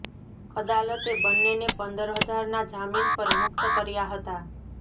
અદાલતે બંનેને પંદર હજારના જામીન પર મુકત કર્યા હતાં